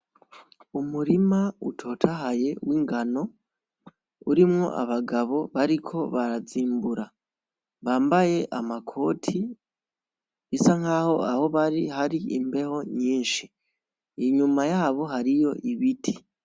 Umurima utotahaye w'ingano, urimwo abagabo bariko barazimbura, bambaye amakoti, bisa nkaho aho bari hari imbeho nyinshi, inyuma yabo hariyo ibiti.